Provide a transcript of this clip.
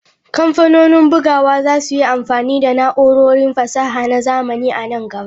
Kamfanonin bugawa za su yi amfani da na'urorin fasaha na zamani a nan gaba.